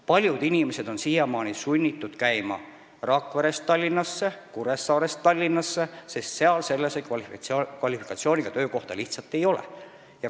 Paljud inimesed on siiamaani sunnitud käima Rakverest ja Kuressaarest Tallinnasse tööle, sest kohapeal nende kvalifikatsiooni vajavaid töökohti lihtsalt ei ole.